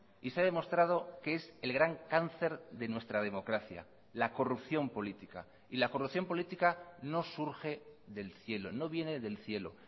y se ha demostrado que es el gran cáncer de nuestra democracia la corrupción política y la corrupción política no surge del cielo no viene del cielo